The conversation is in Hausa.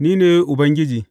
Ni ne Ubangiji.